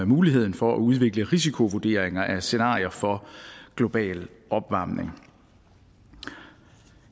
muligheden for at udvikle risikovurderinger af scenarier for global opvarmning